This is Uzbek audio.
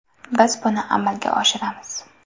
Biz buni amalga oshiramiz”.